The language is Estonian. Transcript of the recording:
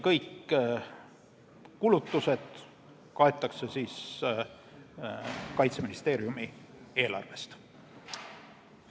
Kõik kulutused kaetakse Kaitseministeeriumi eelarvest.